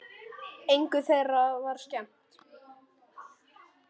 Engu þeirra var skemmt.